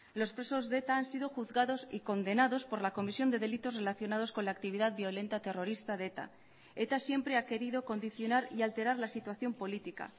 los presos de eta han sido juzgados y condenados por la comisión de delitos relacionados con la actividad violenta terrorista de eta eta siempre ha querido condicionar y alterar la situación política